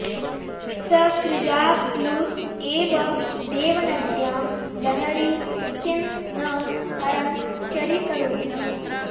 सकृदाप्लुत एव देवनद्यां लहरी किं न हरं चरीकरोति